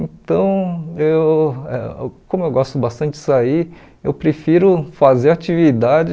Então, eu como eu gosto bastante de sair, eu prefiro fazer atividade